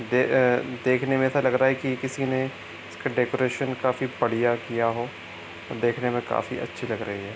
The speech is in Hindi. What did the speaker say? दे अअअ देखने में ऐसा लग रहा है की किसी ने इसका डेकोरेशन काफी बढ़िया किया हो और देखने में काफी अच्छी लग रही है।